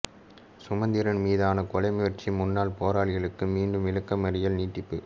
சுமந்திரன் மீதான கொலை முயற்சி முன்னாள் போராளிகளுக்கு மீண்டும் விளக்கமறியல் நிடிப்பு